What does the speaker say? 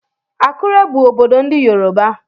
Akure bụ obodo ndị Yoruba.